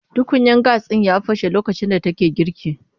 Tukunyan gas ɗin ya fashe lokacin da take girki.